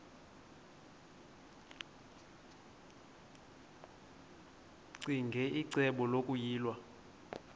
ccinge icebo lokuyilwa